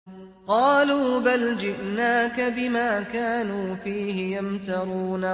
قَالُوا بَلْ جِئْنَاكَ بِمَا كَانُوا فِيهِ يَمْتَرُونَ